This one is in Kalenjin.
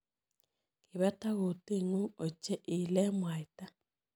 Kibetak kutit ng'ung' ochei, iile mwaita.